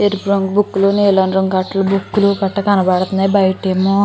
ఎరుపు రంగు బుక్కు లు నీలం అట్లు బుక్కు లు గట్ట కనబడుతున్నాయి. బయట ఏమో --